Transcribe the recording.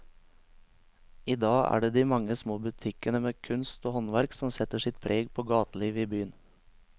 I dag er det de mange små butikkene med kunst og håndverk som setter sitt preg på gatelivet i byen.